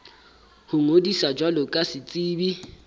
ho ngodisa jwalo ka setsebi